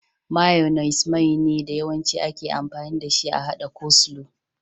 Mayunis Mai ne da Yawancin ake amfani dashi a haɗa coleslaw.